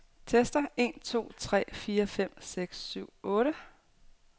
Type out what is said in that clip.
Tester en to tre fire fem seks syv otte.